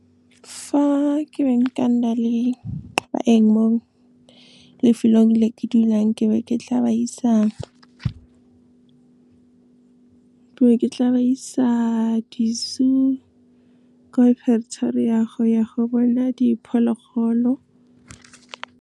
Fa ke beng ka nna le baeng mo lefelong le ke dulang, ke be ke tla ba isa di-zoo, ko Pretoria, go ya go bona diphologolo.